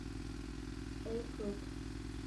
эль хруб